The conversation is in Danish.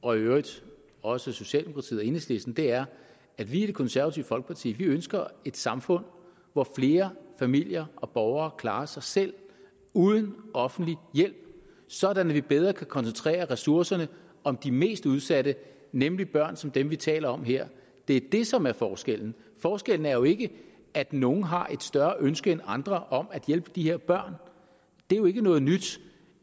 og i øvrigt også socialdemokratiet og enhedslisten er at vi i det konservative folkeparti ønsker et samfund hvor flere familier og borgere klarer sig selv uden offentlig hjælp sådan at vi bedre kan koncentrere ressourcerne om de mest udsatte nemlig børn som dem vi taler om her det er det som er forskellen forskellen er jo ikke at nogle har et større ønske end andre om at hjælpe de her børn det er jo ikke noget nyt